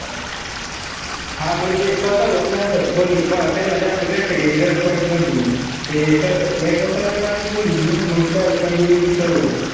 हा म्हणजे सहसा होत नाई ना असं. कोणी त्यान्ला जास्त कष्ट घ्यायची गरज पडत नव्हती. ते एकदा सवय लावली कि मंग काय continue ती सवय होती.